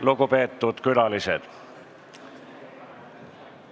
Lugupeetud külalised!